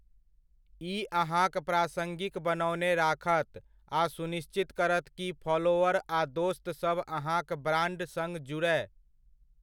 ई अहाँक प्रासङ्गिक बनओने राखत आ सुनिश्चित करत कि फॉलोअर आ दोस्तसभ अहाँक ब्राण्ड सङ्ग जुड़य।